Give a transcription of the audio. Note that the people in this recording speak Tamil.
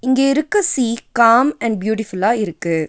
இங்க இருக்க சீ காம் அண்ட் பியூட்டிஃபுல்லா இருக்கு.